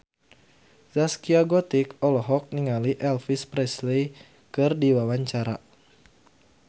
Zaskia Gotik olohok ningali Elvis Presley keur diwawancara